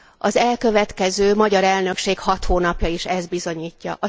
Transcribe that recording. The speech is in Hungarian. Az elkövetkező magyar elnökség hat hónapja is ezt bizonyítja.